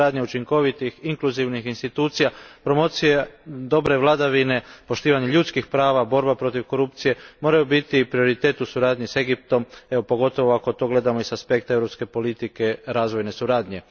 Izgradnja učinkovitih, inkluzivnih institucija, promocija dobre vladavine, poštivanje ljudskih prava, borba protiv korupcije moraju biti prioritet u suradnji s Egiptom, pogotovo ako to gledamo i sa spektra europske politike razvojne suradnje.